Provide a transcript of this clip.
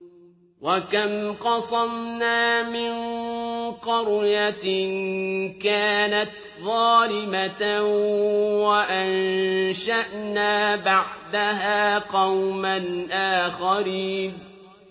وَكَمْ قَصَمْنَا مِن قَرْيَةٍ كَانَتْ ظَالِمَةً وَأَنشَأْنَا بَعْدَهَا قَوْمًا آخَرِينَ